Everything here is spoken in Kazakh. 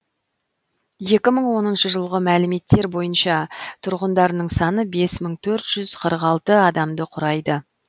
екі мың оныншы жылғы мәліметтер бойынша тұрғындарының саны бес мың төрт жүз қырық алты адамды құрайды